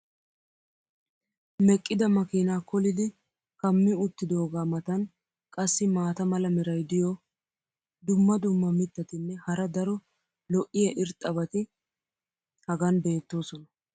meqqida makiinaa koollidi kammi uttidoogaa matan qassi maata mala meray diyo dumma dumma mitatinne hara daro lo'iya irxxabati hagan beetoosona.